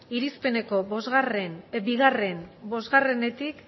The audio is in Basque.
irizpeneko bi bostetik